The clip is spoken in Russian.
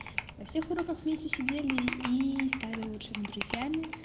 на всех уроках вместе сидели и стали лучшими друзьями